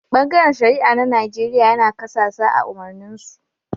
Bangaren shari'a na Nijeriya yana kasasa a' umarnin su.